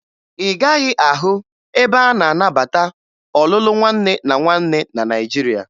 Ị gaghị ahụ ebe a na-anabata ọlụlụ nwanne na nwanne na Naịjirịa